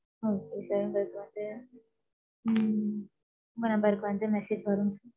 okay sir உங்களுக்கு வந்து ம், உங்க number க்கு வந்து, message வரும்.